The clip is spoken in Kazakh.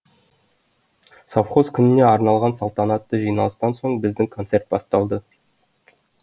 совхоз күніне арналған салтанатты жиналыстан соң біздің концерт басталды